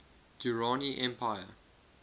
durrani empire